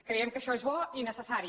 creiem que això és bo i necessari